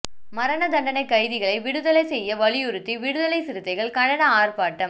மரணதண்டனைக் கைதிகளை விடுதலை செய்ய வலியுறுத்தி விடுதலைச் சிறுத்தைகள் கண்டன ஆர்ப்பாட்டம்